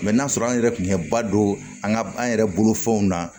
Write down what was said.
n'a sɔrɔ an yɛrɛ tun bɛ ba don an ka an yɛrɛ bolo fɛnw na